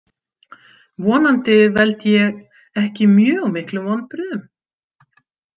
Vonandi veld ég ekki mjög miklum vonbrigðum.